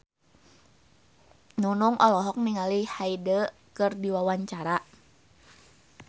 Nunung olohok ningali Hyde keur diwawancara